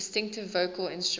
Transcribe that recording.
distinctive vocal instrument